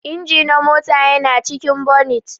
Inji na mota yana cikin bonit.